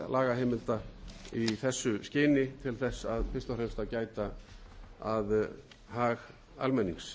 lagaheimilda í þessu skyni til þess fyrst og fremst að gæta að hag almennings